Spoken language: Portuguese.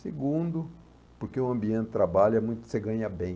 Segundo, porque o ambiente de trabalho é muito, você ganha bem.